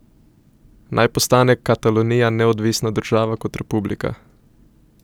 Naj postane Katalonija neodvisna država kot republika?